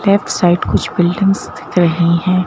Left side कुछ buildings दिख रही हैं।